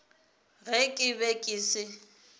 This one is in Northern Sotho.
ge ke be ke se